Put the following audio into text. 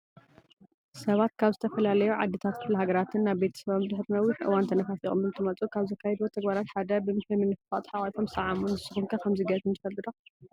ሰባት ካብ ዝተፈላለዩ ዓድታትን ክፍለሃገራትን ናብ ቤተሰቦም ድሕሪ ነዊሕ እዋን ተናፋፊቖም እንትመፁ ካብ ዘካይድዎ ተግባራት ሓደ ብምሒር ምንፍፋቕ ተሓፋፊቕም ይሰዓዓሙ። ንስኹም ከ ከምዚ ገይርኹም ትፈልጡ ዶ?